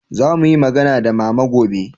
za mu yi magana da mama gobe